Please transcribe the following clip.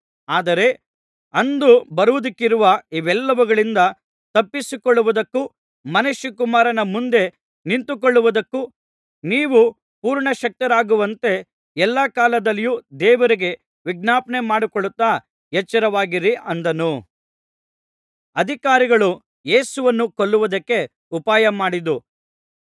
ಆದರೆ ಅಂದು ಬರುವುದಕ್ಕಿರುವ ಇವೆಲ್ಲವುಗಳಿಂದ ತಪ್ಪಿಸಿಕೊಳ್ಳುವುದಕ್ಕೂ ಮನುಷ್ಯಕುಮಾರನ ಮುಂದೆ ನಿಂತುಕೊಳ್ಳುವುದಕ್ಕೂ ನೀವು ಪೂರ್ಣ ಶಕ್ತರಾಗುವಂತೆ ಎಲ್ಲಾ ಕಾಲದಲ್ಲಿಯೂ ದೇವರಿಗೆ ವಿಜ್ಞಾಪನೆಮಾಡಿಕೊಳ್ಳುತ್ತಾ ಎಚ್ಚರವಾಗಿರಿ ಅಂದನು